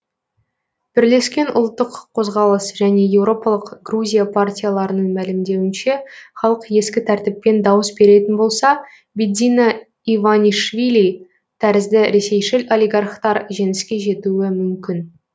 бірлескен ұлттық қозғалыс және еуропалық грузия партияларының мәлімдеуінше халық ескі тәртіппен дауыс беретін болса бидзина иванишвили тәрізді ресейшіл олигархтар жеңіске жетуі мүмкін